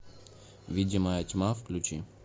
видимая тьма включи